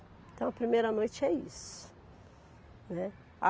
Então a primeira noite é isso, né.